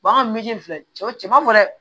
an ka filɛ cɛw cɛ ma fɔ dɛ